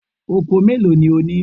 Oko mélòó ni ó ní?